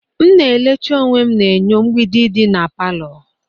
M na elecha onwe na enyo mgbidi dị na palọ.